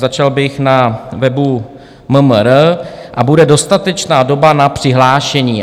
Začal bych na webu MMR, a bude dostatečná doba na přihlášení.